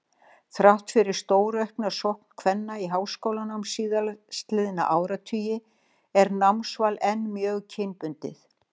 Þrátt fyrir stóraukna sókn kvenna í háskólanám síðastliðna áratugi er námsval enn mjög kynbundið.